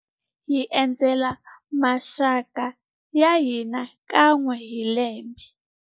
Hi endzela maxaka ya mhani kan'we hi lembe.